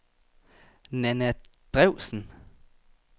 Nana Drewsen